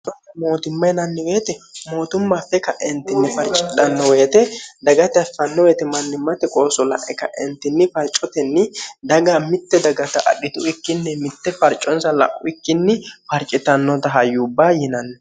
mootumma yinanni woyiite mootumma affe ka'entinni farcidhanno woyeete dagata affanno weyete mannimmate qooso la'e ka'entinni farcotenni daga mitte dagata adhitu ikkinni mitte farconsa la'u ikkinni farcixannota hayubba yinanni.